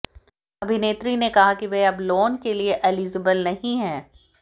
अभिनेत्री ने कहा कि वह अब लोन के लिए एलिजबल नहीं हैं